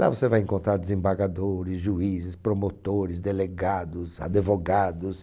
Lá você vai encontrar desembargadores, juízes, promotores, delegados, advogados.